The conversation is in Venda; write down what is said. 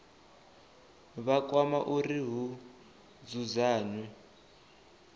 vha kwama uri hu dzudzanywe